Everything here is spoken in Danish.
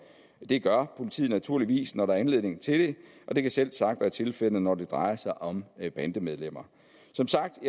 det gør politiet naturligvis når der er anledning til det og det kan selvsagt være tilfældet når det drejer sig om bandemedlemmer som sagt